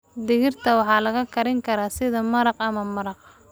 Digirta waxaa la karin karaa sida maraq ama maraq.